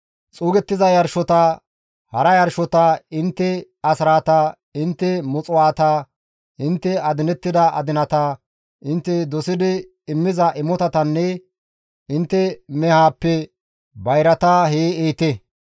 Xuugettiza yarshota, hara yarshota, intte asraata, intte muxuwaata, intte adinettida adinata, intte dosidi immiza imotatanne intte mehaappe bayrata hee ehite.